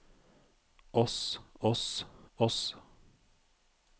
oss oss oss